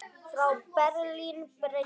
Frá Berlín breiddi